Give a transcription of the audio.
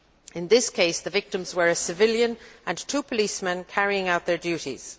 In this case, the victims were a civilian and two policemen carrying out their duties.